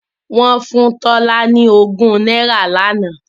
Wọ́n fún Tola ní ogún náírà lánàá